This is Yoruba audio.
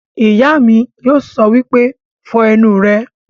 Ìyá mi yóò sọ wípé 'Fọ ẹnu rẹ'